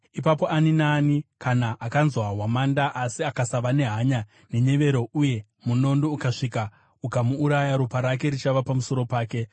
ipapo ani naani kana akanzwa hwamanda asi akasava nehanya nenyevero uye munondo ukasvika ukamuuraya, ropa rake richava pamusoro wake.